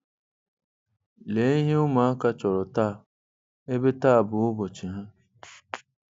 Lee ihe ụmụaka chọrọ taa, ebe taa bụ ụbọchị ha.